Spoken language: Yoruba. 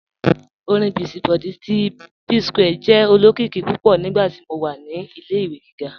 Ọ̀rin Busy Body ti Psquare jẹ́ olokiki púpọ̀ nígbàtí mó wà ní ilẹ̀-ìwé gígá.